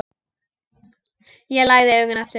Ég lagði augun aftur.